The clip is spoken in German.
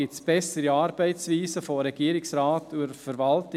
Gibt es bessere Arbeitsweisen des Regierungsrates und der Verwaltung?